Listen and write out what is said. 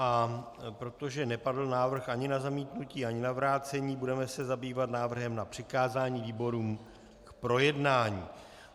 A protože nepadl návrh ani na zamítnutí, ani na vrácení, budeme se zabývat návrhem na přikázání výborům k projednání.